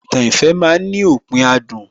Ìtàn ìfẹ́ ma ń ní òpin adùn